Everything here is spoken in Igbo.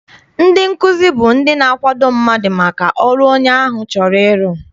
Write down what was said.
Ndị nkụzi bụ ndị na-akwado mmadụ maka ọrụ onye ahụ chọrọ iru.